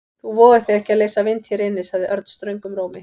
Þú vogar þér ekki að leysa vind hér inni sagði Örn ströngum rómi.